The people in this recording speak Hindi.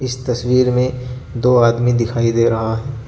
इस तस्वीर में दो आदमी दिखाई दे रहा है.